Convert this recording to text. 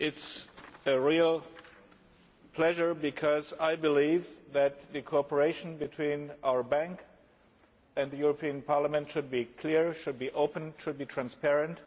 It is a real pleasure because I believe that the cooperation between our Bank and the European Parliament should be clear, should be open and should be transparent.